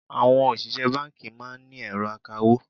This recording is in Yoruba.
Àwọn òṣìṣẹ́ báńkì máa ń ní ẹ̀rọ akawó.